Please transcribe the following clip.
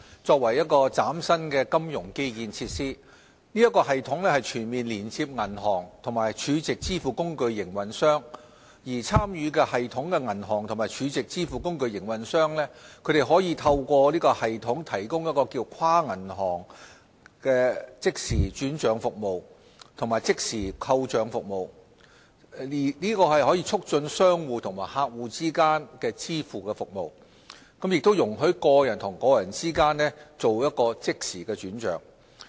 作為嶄新的金融基建設施，此系統全面連接銀行和儲值支付工具營運商，參與系統的銀行及儲值支付工具營運商可透過系統提供跨行即時轉帳服務及即時扣帳服務，促進商戶和客戶之間的支付服務，亦容許個人和個人之間即時轉帳。